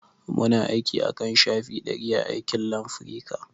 Muna aiki akan shafi ɗari a aikin Lanafrica